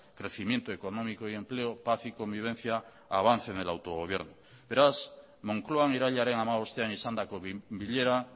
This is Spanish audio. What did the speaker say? crecimiento económico y empleo paz y convivencia avance en el autogobierno beraz moncloan irailaren hamabostean izandako bilera